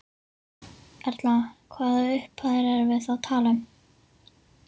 Erla: Hvaða upphæðir erum við þá að tala um?